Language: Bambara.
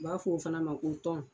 U b'a fɔ o fana ma ko tɔn.